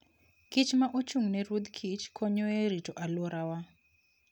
kich ma ochung'ne ruodh kich konyo e rito alworawa.